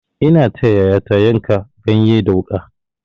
Ina taya yayata yanka ganye da wuƙa.